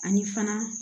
Ani fana